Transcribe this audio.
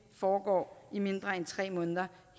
foregår i mindre end tre måneder